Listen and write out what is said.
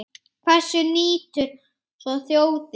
Hvers nýtur svo þjóðin?